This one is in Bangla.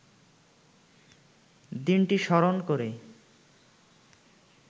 দিনটি স্মরণ করে